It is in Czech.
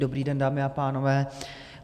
Dobrý den, dámy a pánové.